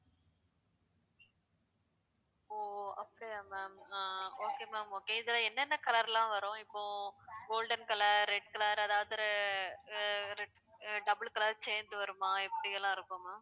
ஓ அப்டியா ma'am ஆ okay ma'am okay இதுல என்னென்ன color லாம் வரும் இப்போ golden color, red color அதாவது ஆஹ் re~ re~ red அ double color change வருமா எப்படி எல்லாம் இருக்கும் ma'am